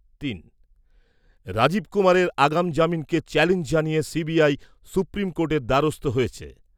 তিন। রাজীব কুমারের আগাম জামিনকে চ্যালেঞ্জ জানিয়ে সিবিআই সুপ্রিম কোর্টের দ্বারস্থ হয়েছে।